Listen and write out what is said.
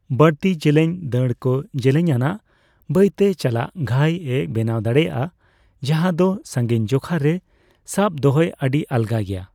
ᱵᱟᱹᱲᱛᱤ ᱡᱮᱞᱮᱧ ᱫᱟᱬ ᱠᱚ ᱡᱮᱞᱮᱧ ᱟᱱᱟᱜ, ᱵᱟᱹᱭ ᱛᱮ ᱪᱟᱞᱟᱜ ᱜᱷᱟᱹᱭᱼᱮ ᱵᱮᱱᱟᱣ ᱫᱟᱲᱮᱭᱟᱜᱼᱟ ᱡᱟᱸᱦᱟ ᱫᱚ ᱥᱟᱸᱜᱤᱧ ᱡᱚᱠᱷᱟ ᱨᱮ ᱥᱟᱵ ᱫᱚᱦᱚᱭ ᱟᱹᱰᱤ ᱟᱞᱜᱟ ᱜᱮᱭᱟ ᱾